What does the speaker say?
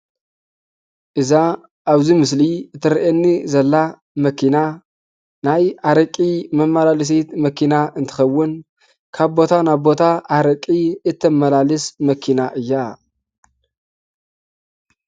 እዛ ኣብ እዚ ምስሊ እትረአየኒ ዘላ መኪና ናይ ኣረቒ መመላለሲት መኪና እትከውን ካብ ቦታ ናብ ቦታ አረቂ እተመላልስ መኪና እያ፡፡